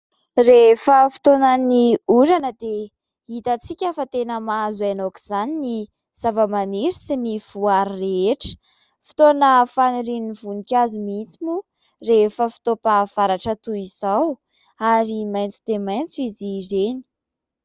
Rehefa fotoanan'ny orana dia hitantsika fa tena mahazo aina aok' izany ny zavamaniry sy ny voary rehetra. Fotoana fanirian'ny voninkazo mihitsy moa rehefa fotoam-pahavaratra toy izao ary maitso dia maitso izy ireny.